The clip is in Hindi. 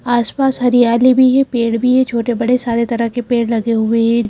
आसपास हरियाली भी है पेड़ भी है छोटे-बड़े सारे तरह के पेड़ लगे हुए हैं।